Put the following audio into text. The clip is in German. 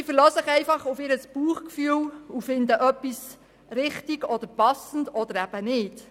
Sie verlassen sich vielmehr auf ihr Bauchgefühl und finden etwas richtig und passend oder eben nicht.